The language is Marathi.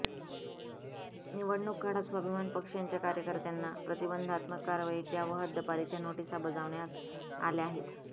निवडणुक काळात स्वाभिमान पक्षांच्या कार्यकर्त्यांना प्रतिबंधात्मक कारवाईच्या व हद्दपारीच्या नोटीसा बजावण्यात आल्या आहेत